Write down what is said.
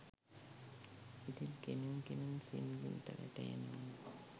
ඉතින් කෙමෙන් කෙමෙන් සිම්රන්ට වැටහෙනවා